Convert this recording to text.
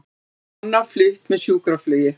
Kona flutt með sjúkraflugi